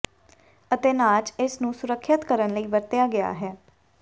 ਅਤੇ ਨਾਚ ਇਸ ਨੂੰ ਸੁਰੱਖਿਅਤ ਕਰਨ ਲਈ ਵਰਤਿਆ ਗਿਆ ਹੈ